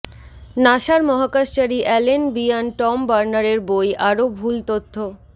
নাসার মহাকাশচারী Alan Bean Tom বার্নারের বই আরো ভুল তথ্য